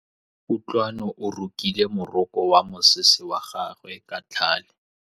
Kutlwanô o rokile morokô wa mosese wa gagwe ka tlhale.